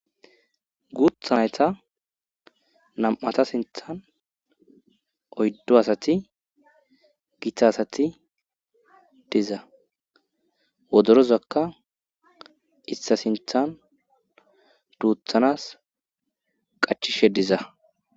Guuthanata nam7ata sinthan oyddo asati gitta asati diza wodorozakka issa sinthan duuthanas qachishe diza.